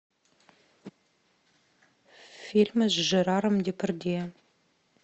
фильмы с жераром депардье